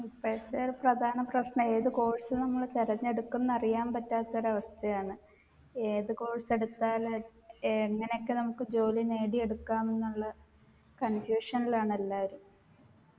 ഇപ്പോഴത്തെ ഒരു പ്രധാന പ്രശ്നം ഏതു course നമ്മൾ തിരഞ്ഞെടുക്കുംന്ന് അറിയാൻ പറ്റാത്തൊരവസ്ഥയാണ് ഏതു course എടുത്താൽ എങ്ങനെയൊക്കെ നമ്മുക്ക് ജോലി നേടിയെടുക്കാമെന്നുള്ള confusion ലാണ് എല്ലാരും